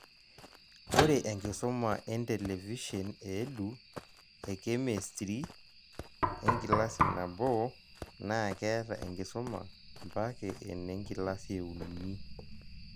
Ore enkisuma entelevishen e Edu, ekemistri enkilasi nabo, naa keeta enkisuma mpake ene nkilasi eunu